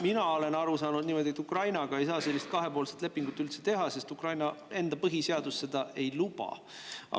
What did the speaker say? Mina olen aru saanud niimoodi, et Ukrainaga ei saa sellist kahepoolset lepingut üldse teha, sest Ukraina enda põhiseadus seda ei luba.